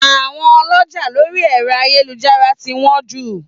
Àwọn ọlọ́jà lórí ẹ̀rọ ayélujára ti wọ́n jù